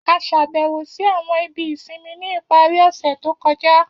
A ṣàbẹ̀wò si àwọn ibi ìsinmi ni ipari ọ̀ṣẹ̀ to kọja.